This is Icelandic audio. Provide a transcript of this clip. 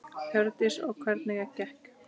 Hjördís: Og hvernig gekk?